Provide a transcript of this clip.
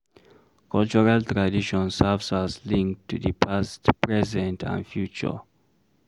Cultural tradition serve as link to di past, present and future